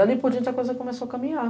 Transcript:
Dali por diante a coisa começou a caminhar.